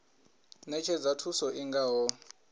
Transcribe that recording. ṅetshedza thuso i nga ho